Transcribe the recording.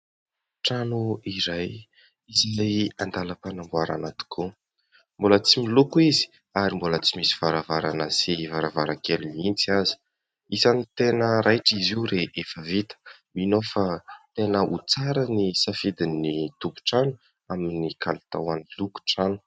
Trano iray izay an-dalam-panamboarana tokoa. Mbola tsy miloko izy ary mbola tsy misy varavarana sy varavarankely mihitsy aza. Isan'ny tena raitra izy io rehefa vita. Mino aho fa tena ho tsara ny safidin'ny tompon-trano amin'ny kalitaon'ny lokon-trano.